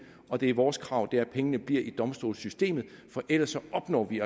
og det er vores krav at pengene bliver i domstolssystemet for ellers opnår vi